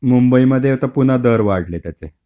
मुंबईमध्ये आता पुन्हा दर वाढले त्याचे.